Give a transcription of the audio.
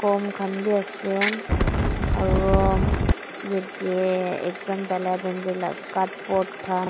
I'm khan bi ase aro yate exam dalitim tae la card bort khan.